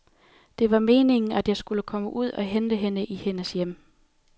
Det var meningen, at jeg skulle komme ud og hente hende i hendes hjem.